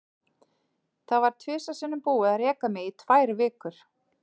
Það var tvisvar sinnum búið að reka mig í tvær vikur.